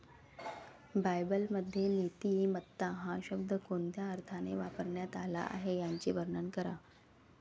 बायबलमध्ये नीतिमत्ता हा शब्द कोणत्या अर्थाने वापरण्यात आला आहे याचे वर्णन करा.